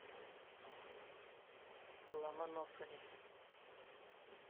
ломоносове